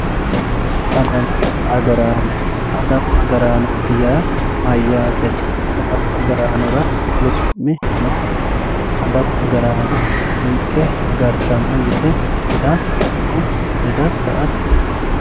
adawu agarano adawu agraanooti yaa mayyate adawu agaraanora wolu su'mi noonsa adawu agaraano ninke agartano yite hedatto woy hedatta ati